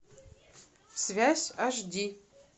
связь аш ди